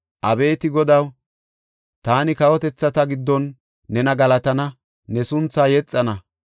Abeeti Godaw taani kawotethata giddon nena galatana; ne sunthaa yexana.